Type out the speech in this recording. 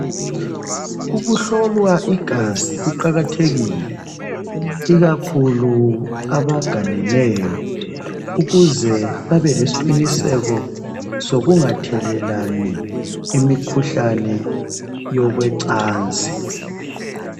Ukuhlolwa igazi kuqakathekile ikakhulu kwabaganeneyo ukuze babelesiqiniseko sokungathelelani imikhuhlane yocansi.